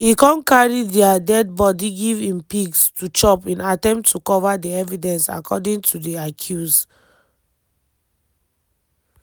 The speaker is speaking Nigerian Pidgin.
e come carry dia dead body give im pigs to chop in attempt to cover di evidence according to di accuse.